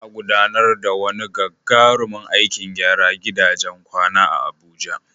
Za'a gudanar da wani gagarumin aikin gyara gidajen kwana a Abuja